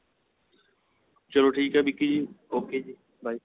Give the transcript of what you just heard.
ਚਲੋ ਠੀਕ ਏ ਵਿੱਕੀ ਜੀ okay ਜੀ by